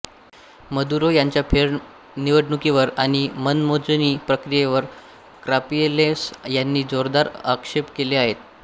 Maduro यांच्या फेरनिवडणुकीवर आणि मतमोजणी प्रक्रियेवर काप्रिलेस यांनी जोरदार आक्षेप केले आहेत